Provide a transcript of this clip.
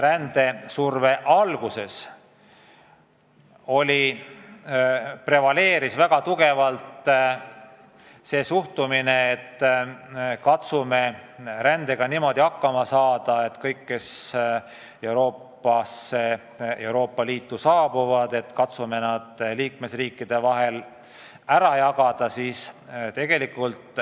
Rändesurve alguses prevaleeris väga tugevalt suhtumine, et katsume rändega niimoodi hakkama saada, et jagame kõik, kes Euroopa Liitu saabuvad, liikmesriikide vahel ära.